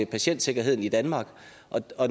patientsikkerheden i danmark